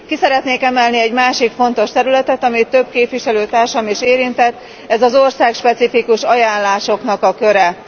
Ki szeretnék emelni egy másik fontos területet, amelyet több képviselőtársam is érintett, ez az országspecifikus ajánlások köre.